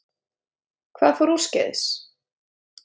Hvað fór úrskeiðis?